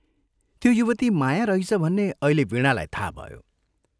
त्यो युवती माया रहिछ भन्ने अहिले वीणालाई थाहा भयो।